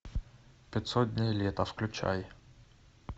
пятьсот дней лета включай